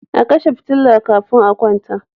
A kashe fitila kafin a kwanta.